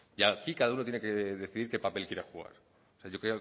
y aquí cada uno tiene que decidir qué papel quiere jugar yo